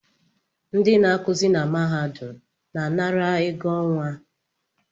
Ndị na-akụzị na mahadum na-anara ego ọnwa